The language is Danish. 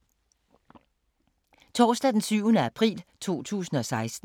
Torsdag d. 7. april 2016